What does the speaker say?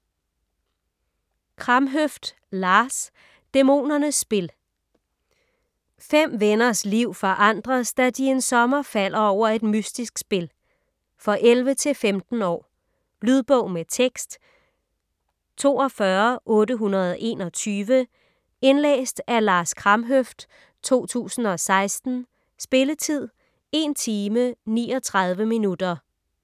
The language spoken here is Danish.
Kramhøft, Lars: Dæmonernes spil 5 venners liv forandres, da de en sommer falder over et mystisk spil. For 11-15 år. Lydbog med tekst 42821 Indlæst af Lars Kramhøft, 2016. Spilletid: 1 timer, 39 minutter.